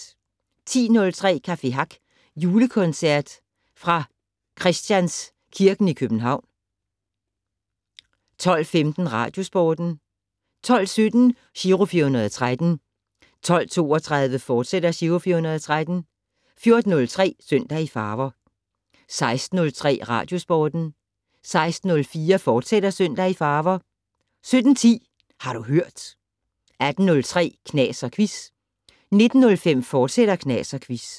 10:03: Café Hack julekoncert fra Christians kirken i København 12:15: Radiosporten 12:17: Giro 413 12:32: Giro 413, fortsat 14:03: Søndag i farver 16:03: Radiosporten 16:04: Søndag i farver, fortsat 17:10: Har du hørt 18:03: Knas & Quiz 19:05: Knas & Quiz, fortsat